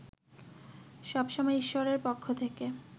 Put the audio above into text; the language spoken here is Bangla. সব সময় ঈশ্বরের পক্ষ থেকে